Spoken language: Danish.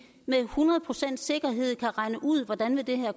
med hundrede procents sikkerhed kan regne ud hvordan det her